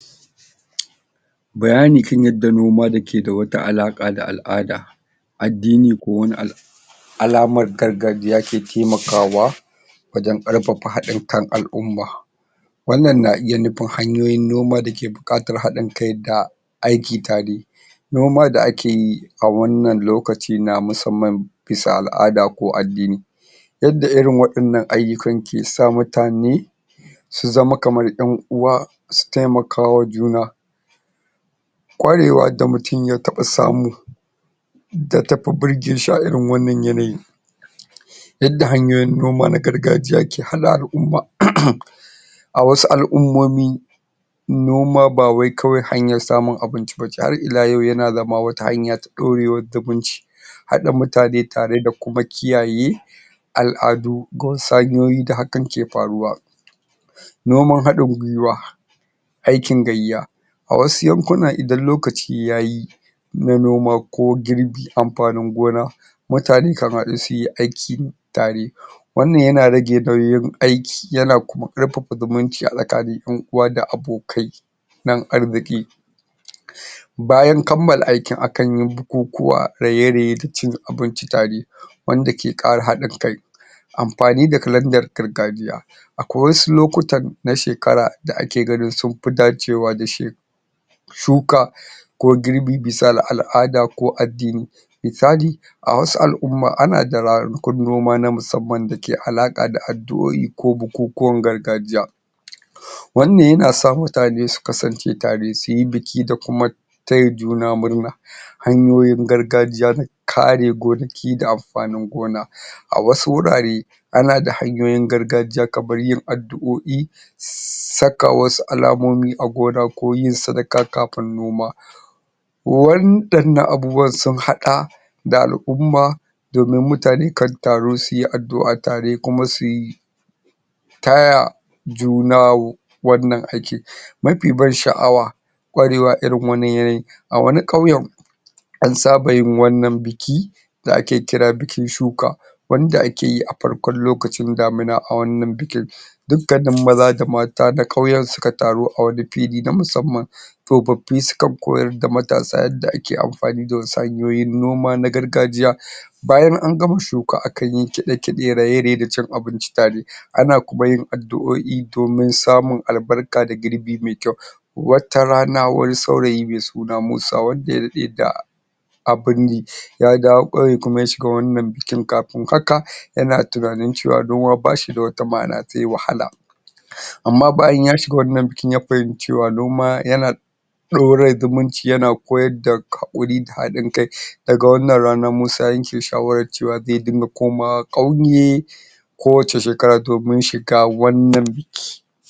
bayani kan yadda noma keda wata alaka da al'ada addini ko wani abu alamar gargajiya ke taimakawa wajen karfafa hadin kan al'umma wannan na iya nufin hanyoyin noma dake bukatar hadin kai da aiki tare noma da akeyi a wannan lokacin na musamman bisa al'ada ko addini yadda irinwa wadannan ayukan ke sa mutane su zama kamar yan uwa su taimaka ma juna kwarewa da mutum ya taba samu da tafi birge shi a irin wannan yanayi yadda hanyoyin noma na gargajiya ke hada al'umma a wasu al'ummomi noma bawai kawai hanyar samun abinci bace har iyalau yana zama wata hana ta dorewar zumunci hada mutane tare da kuma kiyaye al'adu ko wasu hanyoyi da hakan ke faruwa noman hadin gwiwa aikin gayya a wasu yankuna idan lokaci yayi na noma ko girbin amfanin gona mutane kan hadu suyi aiki tare wannan yana rage nauyin aiki yana kuma karfafa zumunci a tsakanin yan uwa da abokai na arziki? bayan kammala aikin akanyi bukukuwa raye raye da cin abinci tare wanda ke kara hadin kai amfani da kalandar gargajiya akwai wasu lokutan na shekara da ake ganin sunfi dacewa da shi shuka ko girbi bisa al'ada ko addini misali awasu al'umma ana da ranakun noma na musamman dake alaka da addu'oi ko bukukuwan gargajiya wannan yana sa mutane su kasance tare suyi biki da kuma taya juna murna hanyoyin gargajiya na kare gonaki da amfanin gonaa wasu wurare ana da hanyoyin gargajiya kamar yin addu'oi saka wasu alamomi a gona ko yin sadaka kafin noma wadannan abubuwan sun hada da da al'umma domin mutane kan taru suyi addu'a tare kuma kuma suyi taya juna wannan aikin mafi ban sha'awa kwarewa a irin wannan yanayin a wani kauyen an saba yin wannan bikin da ake kira bikin shuka wanda akeyi a farkon lokacin damina a wannan bikin dukkanin maza da mata na kauyen suka taru a wani fili na musamman tsofaffi sukan koyar da matasa yadda ake amfani da wasu hanyoyin noma na gargajiya bayan an gama shuka akanyi kide kide raye raye da cin abinci tare ana kuma yin addu'oi domin samun albarka da girbi mai kyau wata rana wani saurayi mai suna musa wanda ya dade da abinyi ya dawo kauye kuma ya shiga wannan bikin kafin kafin haka yana tunanin cewa noma bashida wata ma'ana sai wahala amma bayan ya shiga wannan bikin ya fahinci cewa noma yana yana dora zumunci yana koyarda hakuri da hadin kai daga wannan rana musa ya yake shawara cewa zai dinga komawa kauye ko wace shekara domin shiga wannan biki